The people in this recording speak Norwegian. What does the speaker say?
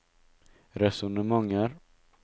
resonnementer